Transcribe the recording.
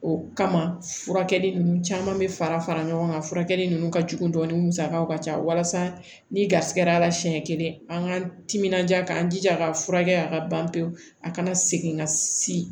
O kama furakɛli ninnu caman bɛ fara fara ɲɔgɔn kan furakɛli ninnu ka jugu dɔɔnin musakaw ka ca walasa ni garisigɛ la siɲɛ kelen an ka timinanja k'an jija ka furakɛ a ka ban pewu a kana segin ka sin